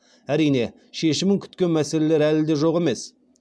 әрине шешімін күткен мәселелер әлі де жоқ емес